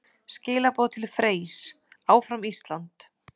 Skilaboð til Freys: Áfram Ísland!